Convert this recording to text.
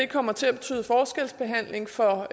kommer til at betyde forskelsbehandling for